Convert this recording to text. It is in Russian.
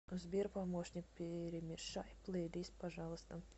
сбер помощник перемешай плейлист пожалуйста